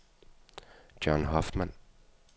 John Hoffmann